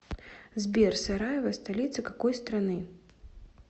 сбер сараево столица какой страны